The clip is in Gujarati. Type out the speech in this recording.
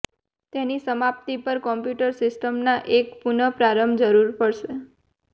તેની સમાપ્તિ પર કોમ્પ્યુટર સિસ્ટમના એક પુનઃપ્રારંભ જરૂર પડશે